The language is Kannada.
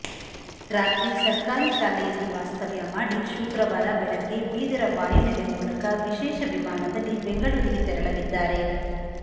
ರಾತ್ರಿ ಸರ್ಕಾರಿ ಶಾಲೆಯಲ್ಲಿ ವಾಸ್ತವ್ಯ ಮಾಡಿ ಶುಕ್ರವಾರ ಬೆಳಗ್ಗೆ ಬೀದರ ವಾಯು ನೆಲೆ ಮೂಲಕ ವಿಶೇಷ ವಿಮಾನದಲ್ಲಿ ಬೆಂಗಳೂರಿಗೆ ತೆರಳಲಿದ್ದಾರೆ